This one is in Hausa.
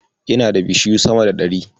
Ina da bishiyu sama da ɗari.